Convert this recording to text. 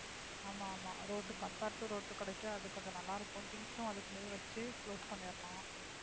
ஆமா ஆமா ரோட்டுக்கு compare to ரோட்டு கிடைக்கும் அது கொஞ்சம் நல்லா இருக்கும் things ம் அதுக்குள்ளேயே வச்சு close பண்ணிடலாம்